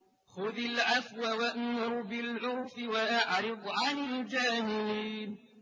خُذِ الْعَفْوَ وَأْمُرْ بِالْعُرْفِ وَأَعْرِضْ عَنِ الْجَاهِلِينَ